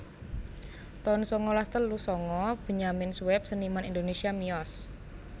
taun sangalas telu sanga Benyamin Sueb seniman Indonésia miyos